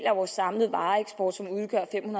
af vores samlede vareeksport som udgør fem